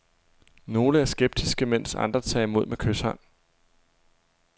Nogle er skeptiske, mens andre tager imod med kyshånd.